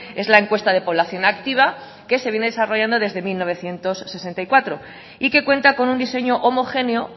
es la encuesta de población activa que se viene desarrollando desde mil novecientos sesenta y cuatro y que cuenta con un diseño homogéneo